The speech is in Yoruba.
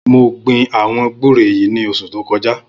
Mó gbin awọn gbùré yi ni óṣù tókọjá